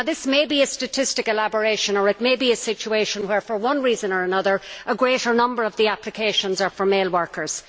This may be a statistical aberration or it may be a situation where, for one reason or another, a greater number of the applications are for male workers.